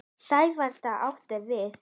Sæfari getur átt við